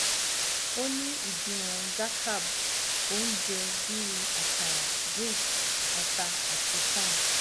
o ni idiwọn gacarb ounje bi akara grits ata ati corn